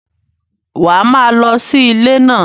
Wá má lọ sí ilé náà